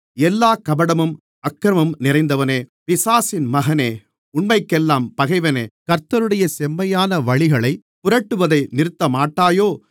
எல்லாக் கபடமும் அக்கிரமமும் நிறைந்தவனே பிசாசின் மகனே உண்மைக்கெல்லாம் பகைவனே கர்த்தருடைய செம்மையான வழிகளைப் புரட்டுவதை நிறுத்தமாட்டாயோ